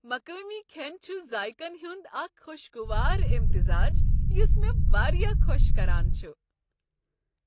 مقٲمی کھین چھ ذایقن ہند اکھ خوشگوار امتزاج یس مےٚ واریاہ خوش کران چھ ۔